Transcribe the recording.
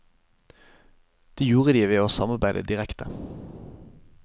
Det gjorde de ved å samarbeide direkte.